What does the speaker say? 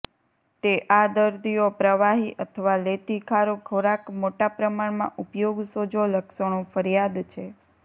તે આ દર્દીઓ પ્રવાહી અથવા લેતી ખારું ખોરાક મોટા પ્રમાણમાં ઉપયોગ સોજો લક્ષણો ફરિયાદ છે